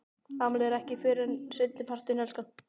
Afmælið er ekki fyrr en seinni partinn, elskan.